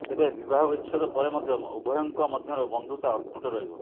ତେବେ ବିବାହ ବିଚ୍ଛେଦ ପରେ ମଧ୍ୟ ଉଭୟଙ୍କ ମଧ୍ୟରେ ବନ୍ଧୁତା ଅତୁଟ ରହିବ